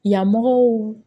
Yamɔgɔw